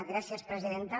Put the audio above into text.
gràcies presidenta